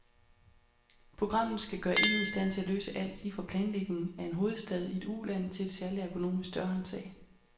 Programmet skal gøre en i stand til at løse alt, lige fra planlægning af en hovedstad i et uland til et særlig ergonomisk dørhåndtag.